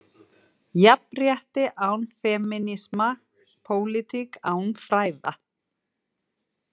„Jafnrétti án femínisma, pólitík án fræða?“